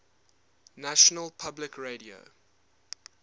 national public radio